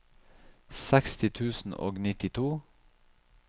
seksti tusen og nittito